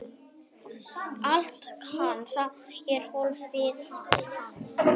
Allt kann sá er hófið kann.